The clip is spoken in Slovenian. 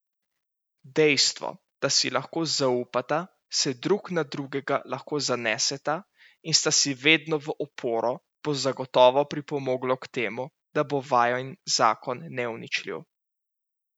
Dejstvo, da si lahko zaupata, se drug na drugega lahko zaneseta in sta si vedno v oporo, bo zagotovo pripomoglo k temu, da bo vajin zakon neuničljiv.